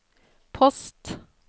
post